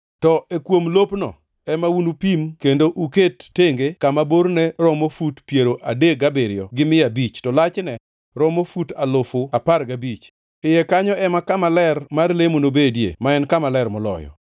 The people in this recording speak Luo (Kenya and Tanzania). To e kuom lopno, ema unupim kendo uket tenge kama borne romo fut alufu piero adek gabiriyo gi mia abich, to lachne romo fut alufu apar gabich. Iye kanyo ema kama ler mar lemo nobedie, ma en Kama Ler Moloyo.